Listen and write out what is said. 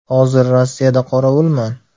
Hozir Rossiyada qorovulman” .